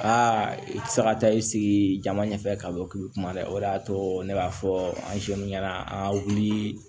Aa i ti se ka taa i sigi jama ɲɛfɛ ka bɔ k'i be kuma dɛ o de y'a to ne b'a fɔ an ɲɛna an wulii